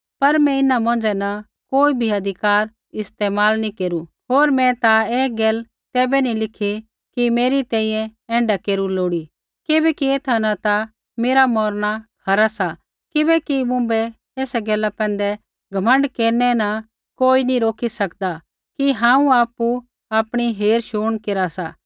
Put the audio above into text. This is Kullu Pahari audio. पर मैं इन्हां मौंझ़ै न कोई भी अधिकार इस्तेमाल नी केरू होर मैं ता ऐ गैला तैबै नी लिखी कि मेरी तैंईंयैं ऐण्ढा केरू लोड़ी किबैकि एथा न ता मेरा मौरना खरा सा किबैकि मुँभै ऐसा गैला पैंधै घमण्ड केरनै न कोई नैंई रोकी सकदा कि हांऊँ आपु आपणी हेरशुण केरा सा